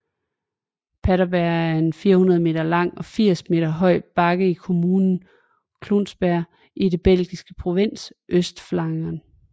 Paterberg er en 400 meter lang og 80 meter høj bakke i kommunen Kluisbergen i den belgiske provins Østflandern